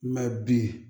bi